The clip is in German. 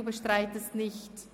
Sie bestreiten es nicht?